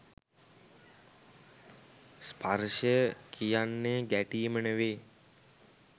ස්පර්ශය කියන්නෙ ගැටීම නෙවෙයි.